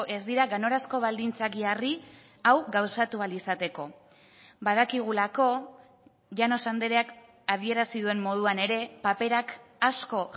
ez dira ganorazko baldintzak jarri hau gauzatu ahal izateko badakigulako llanos andreak adierazi duen moduan ere paperak asko